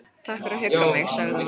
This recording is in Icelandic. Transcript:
Takk fyrir að hugga mig- sagði hún.